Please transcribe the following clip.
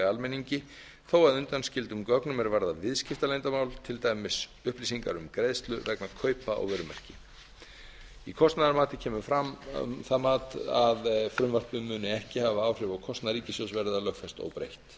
almenningi þó að undanskildum gögnum er varðar viðskiptaleyndarmál til dæmis upplýsingar um greiðslu vegna kaupa á vörumerki í kostnaðarmati kemur fram það mat að frumvarpið muni ekki hafa áhrif á kostnað ríkissjóðs verði það lögfest óbreytt